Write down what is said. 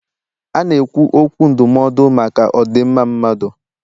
A na-ekwu okwu ndụmọdụ maka odinmma mmadụ